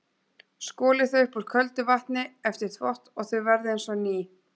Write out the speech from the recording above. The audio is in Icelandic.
Skolið þau upp úr köldu vatni eftir þvott og þau verða eins og ný.